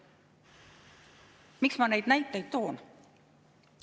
Miks ma neid näiteid toon?